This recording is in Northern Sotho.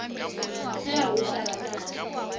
ge a re go šarakane